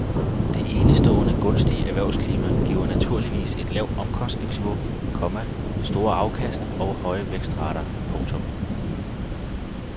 Dette enestående gunstige erhvervsklima giver naturligvis et lavt omkostningsniveau, komma store afkast og høje vækstrater. punktum